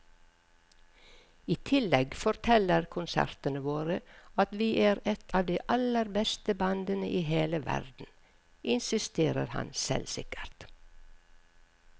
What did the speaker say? I tillegg forteller konsertene våre at vi er et av de aller beste bandene i hele verden, insisterer han selvsikkert.